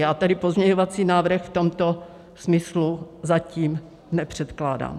Já tedy pozměňovací návrh v tomto smyslu zatím nepředkládám.